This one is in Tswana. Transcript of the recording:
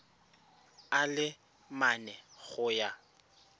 a le mane go ya